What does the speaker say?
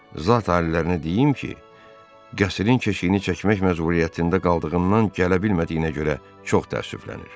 Zat alilərinə deyim ki, qəsrinin keşiyini çəkmək məcburiyyətində qaldığından gələ bilmədiyinə görə çox təəssüflənir.